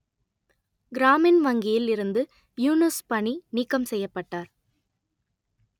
கிராமின் வங்கியில் இருந்து யூனுஸ் பணி நீக்கம் செய்யப்பட்டார்